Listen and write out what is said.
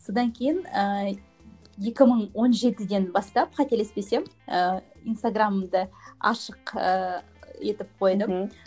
содан кейін ыыы екі мың он жетіден бастап қателеспесем ыыы инстаграмымды ашық ыыы етіп қойдым мхм